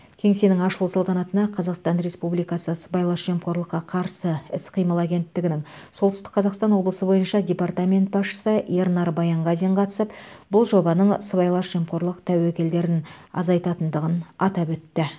кеңсенің ашылу салтанатына қазақстан республикасы сыбайлас жемқорлыққа қарсы іс қимыл агенттігінің солтүстік қазақстан облысы бойынша департамент басшысы ернар баянғазин қатысып бұл жобаның сыбайлас жемқорлық тәуекелдерін азайтатындығын атап өтті